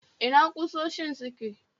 Ina ƙusoshin suke?